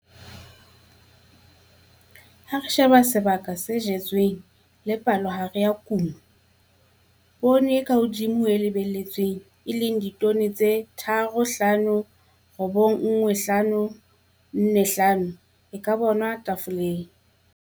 Ha re sheba sebaka se jetsweng le palohare ya kuno, poone e ka hodimo ho e lebelletsweng, e leng ya ditone tse 3 591 545 e ka bonwa theiboleng.